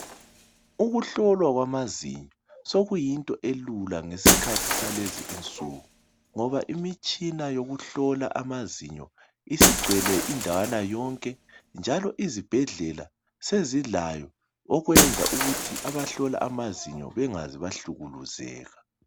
Ukuhlolwa kwamazinyo sekuyinto elula ngesikhathi salezi insuku ngoba imitshina yokuhlola amazinyo isigcwele indawana yonke, njalo izibhedlela sezilayo okwenza ukuthi abahlola amazinyo bengaze bahlukuluzeka .